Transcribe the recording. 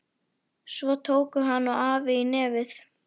Svo tóku hann og afi í nefið.